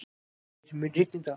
Þeyr, mun rigna í dag?